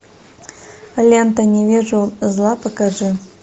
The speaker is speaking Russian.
лента не вижу зла покажи